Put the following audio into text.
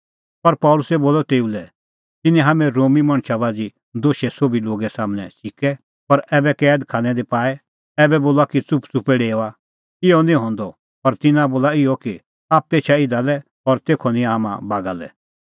पर पल़सी बोलअ तेऊ लै तिन्नैं हाम्हैं रोमी मणछ बाझ़ी दोशै सोभी लोगा सम्हनै च़िकै और कैद खानै दी बी पाऐ ऐबै बोला कि च़ुपच़ुपै डेओआ इहअ निं हंदअ पर तिन्नां बोला इहअ कि आप्पै एछा इधा लै और तेखअ निंयां हाम्हां बागा लै